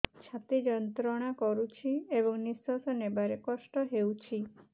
ଛାତି ଯନ୍ତ୍ରଣା କରୁଛି ଏବଂ ନିଶ୍ୱାସ ନେବାରେ କଷ୍ଟ ହେଉଛି